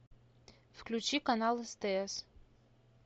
включи канал стс